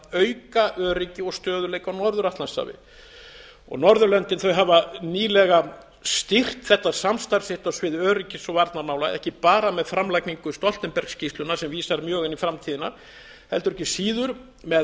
auka öryggi og stöðugleika á norður atlantshafi norðurlöndin hafa nýlega stýrt þetta samstarf sitt á sviði öryggis og varnarmála ekki bara með framlagningu stoltenberg skýrslunnar sem vísar mjög inn í framtíðina heldur ekki síður með